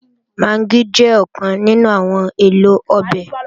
Magí jẹ́ ọ̀kan nínú àwọn èlò ọbẹ̀